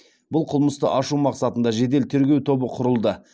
бұл қылмысты ашу мақсатында жедел тергеу тобы құрылды